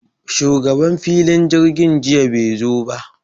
Shugaban filin jirgin jiya be zo ba